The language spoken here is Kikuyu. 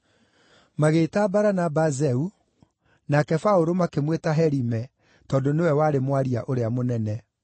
Magĩĩta Baranaba Zeu, nake Paũlũ makĩmwĩta Herime tondũ nĩwe warĩ mwaria ũrĩa mũnene.